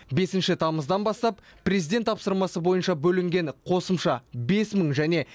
бесінші тамыздан бастап президент тапсырмасы бойынша бөлінген қосымша бес мың және